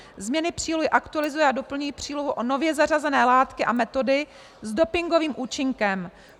Změny přílohy aktualizují a doplňují přílohu o nově zařazené látky a metody s dopingovým účinkem.